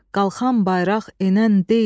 Qalxan bayraq enən deyil.